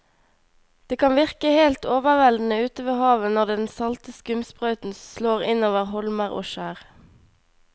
Det kan virke helt overveldende ute ved havet når den salte skumsprøyten slår innover holmer og skjær.